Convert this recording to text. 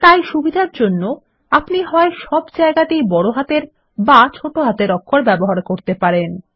তাই সুবিধার জন্য আপনি সব ক্ষেত্রেই হয় বড় হাতের অথবা ছোট হাতের অক্ষ ব্যবহার করতে পারেন